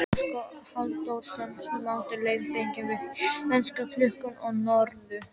Óskar Halldórsson samdi leiðbeiningar við Íslandsklukkuna og Njörður